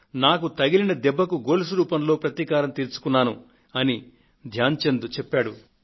నాకు తగిలిన దెబ్బకు గోల్స్ రూపంలో ప్రతీకారం తీర్చుకున్నాను అని ధ్యాన్ చంద్ అన్నారు